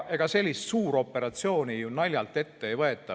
Sellist suuroperatsiooni ju naljalt ette ei võeta.